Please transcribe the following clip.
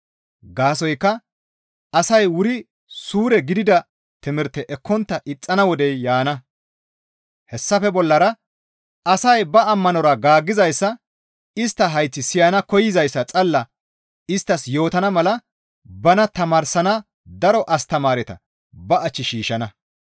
Gaasoykka asay wuri suure gidida timirte ekkontta ixxana wodey yaana; hessafe bollara asay ba amora gaaggizayssa istta hayththi siyana koyzayssa xalla isttas yootana mala bana tamaarsana daro astamaareta ba ach shiishshana.